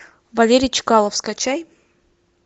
валерий чкалов скачай